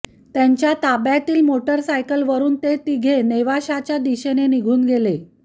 त्यांच्या ताब्यातील मोटारसायकलवरून ते तिघे नेवाशाच्या दिशेने निघून गेले